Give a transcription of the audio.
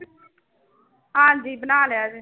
ਹਾਂਜੀ ਬਣਾ ਲਿਆ ਜੀ